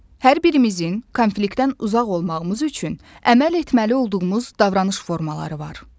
Hər birimizin konfliktdən uzaq olmağımız üçün əməl etməli olduğumuz davranış formaları var.